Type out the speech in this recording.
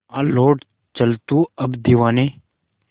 आ लौट चल तू अब दीवाने